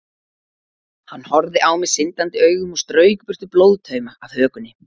Hann horfði á mig syndandi augum og strauk burtu blóðtauma af hökunni.